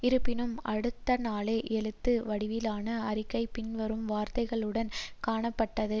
இருப்பினும் அடுத்தநாளே எழுத்து வடிவிலான அறிக்கை பின்வரும் வார்த்தைகளுடன் காணப்பட்டது